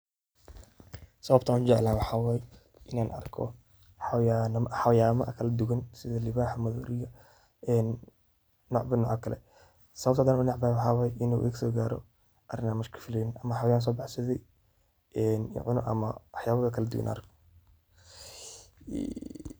Sawabtaa u jeecalahay waxaway Ina arkoh, xawayana kala duduwan setha luwaxaa mathorika ee dinca Kali setha u neceebahay waxaway inu igu so karoh, in iskalifeleynin amah sethi waxayala kaladuuwan oo arkoh.